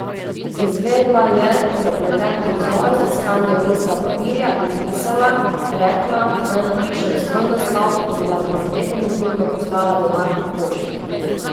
Izvedla je zapleten prizor z iskanjem lista papirja in pisala, rekla, naj napišem svoj naslov in da mi bo definitivno poslala denar po pošti.